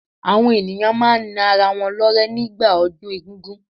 Àwọn ènìyàn máa n na ara wọn lọ́rẹ́ ní gbà ọdún egún-gún